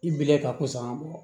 I bilen ka kosɔn ga bɔ